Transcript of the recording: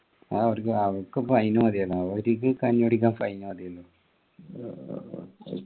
അവർക്ക് fine മതിയല്ലോ അവരിക്ക് കഞ്ഞി കുടിക്കാൻ fine മതിയല്ലോ